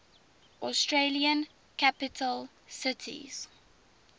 australian capital cities